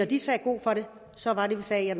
de sagde god for det så var det vi sagde